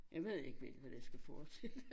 Jeg ved ikke helt hvad det skal forestille